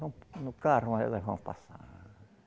Vão no carro, aí elas vão passar.